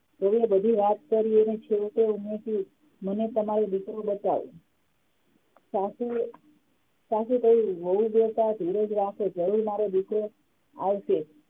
વહુએ બધી વાત કરી અને છેવટે મને તમારો દીકરો બતાવો સાસુએ સાસુએ કહ્યું વહુ બેટા ધીરજ રાખો જરૂર મારો દીકરો આવશે